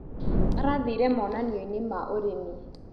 Arathire monanioinĩ ma ũrĩmi.